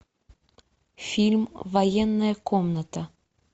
фильм военная комната